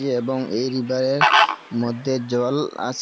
এবং এই রিবারের মদ্যে জল আছে।